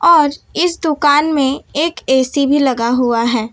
और इस दुकान में एक ए_सी भी लगा हुआ है।